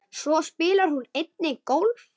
Svo spilar hún einnig golf.